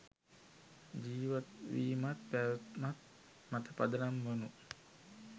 ජීවත්වීමත් පැවැත්මත් මත පදනම් වුනු